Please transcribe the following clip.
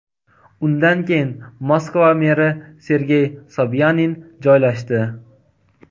Undan keyin Moskva meri Sergey Sobyanin joylashdi.